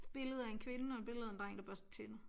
Billede af en kvinde og et billede af en dreng der børster tænder